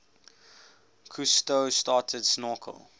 cousteau started snorkel